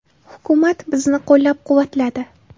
Hukumat bizni qo‘llab-quvvatladi.